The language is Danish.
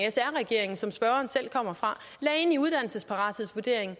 som spørgeren selv kommer fra lagde ind i uddannelsesparathedsvurderingen